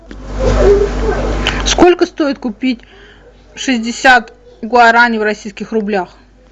сколько стоит купить шестьдесят гуарани в российских рублях